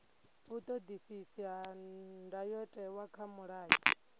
vhuṱoḓisisi ha ndayotewa kha mulayo